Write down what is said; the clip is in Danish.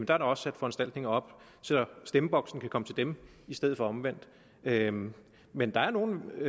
der også sat foranstaltninger op så stemmeboksen kan komme til dem i stedet for omvendt men men der er nogle